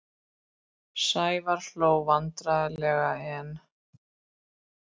Sævar hló vandræðalega en